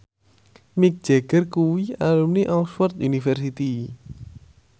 Mick Jagger kuwi alumni Oxford university